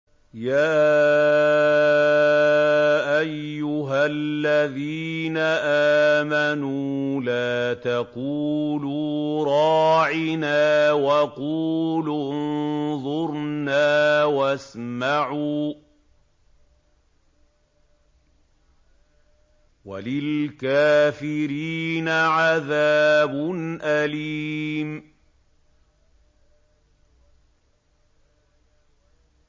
يَا أَيُّهَا الَّذِينَ آمَنُوا لَا تَقُولُوا رَاعِنَا وَقُولُوا انظُرْنَا وَاسْمَعُوا ۗ وَلِلْكَافِرِينَ عَذَابٌ أَلِيمٌ